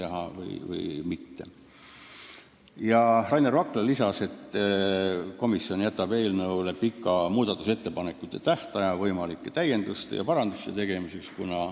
Rainer Vakra märkis, et komisjon jätab pika muudatusettepanekute tähtaja, et oleks võimalik täiendusi ja parandusi teha.